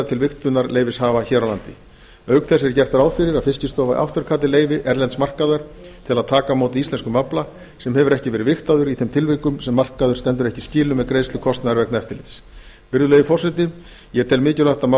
til vigtunarleyfishafa hér á landi auk þess er gert ráð fyrir að fiskistofa afturkalli leyfi erlends markaðar til að taka á móti íslenskum afla sem hefur ekki verið vigtaður í þeim tilvikum sem markaður stendur ekki í skilum með greiðslu kostnaðar vegna eftirlits virðulegi forseti ég tel mikilvægt að mál